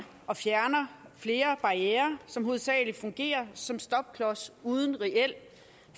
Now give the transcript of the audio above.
og fjerner flere barrierer som hovedsagelig fungerer som stopklods uden reel